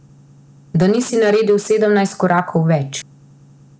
Da nisi naredil sedemnajst korakov več.